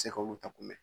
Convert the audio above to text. Se ka olu ta kunbɛ